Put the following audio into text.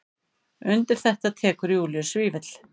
Undir þetta tekur Júlíus Vífill.